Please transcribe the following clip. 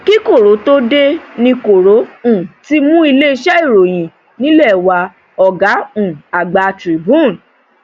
kí koro tóo dé ní koro um ti mú iléeṣẹ ìròyìn nílẹ wá ọgá um àgbà tribune